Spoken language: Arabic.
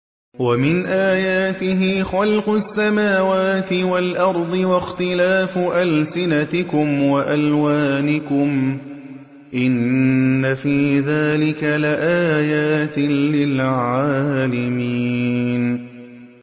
وَمِنْ آيَاتِهِ خَلْقُ السَّمَاوَاتِ وَالْأَرْضِ وَاخْتِلَافُ أَلْسِنَتِكُمْ وَأَلْوَانِكُمْ ۚ إِنَّ فِي ذَٰلِكَ لَآيَاتٍ لِّلْعَالِمِينَ